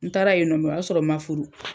N taara yen nɔ o y'a sɔrɔ ma furu.